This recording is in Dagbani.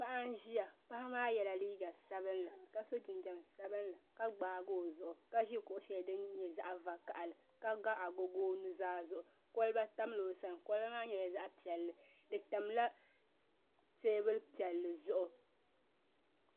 Paɣa n ʒiya paɣa maa yɛla liiga sabinli ka so jinjɛm sabinli ka gbaagi o zuɣu ka ʒi kuɣu shɛli din nyɛ zaɣ vakaɣali ka ga agogo o nuzaa zuɣu kolba tamla o sani kolba maa nyɛla zaɣ piɛlli di tamla teebuli piɛlli